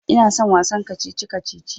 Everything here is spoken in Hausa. Ina son wasan kacici-kacici.